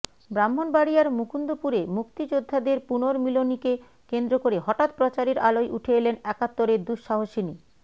ব্রাহ্মণবাড়িয়ার মুকুন্দপুরে মুক্তিযোদ্ধাদের পু্নর্মিলনীকে কেন্দ্র করে হঠাৎ প্রচারের আলোয় উঠে এলেন একাত্তরের দুঃসাহসিনী